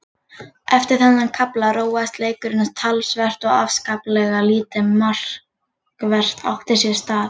Eftir þennan kafla róaðist leikurinn talsvert og afskaplega lítið markvert átti sér stað.